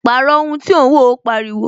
Pàrọ̀ ohun tí ò ń wo! Ó pariwo